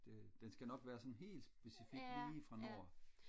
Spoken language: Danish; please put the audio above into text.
det den skal nok være sådan helt specifik lige fra nord